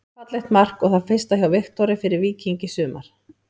Fallegt mark og það fyrsta hjá Viktori fyrir Víking í sumar.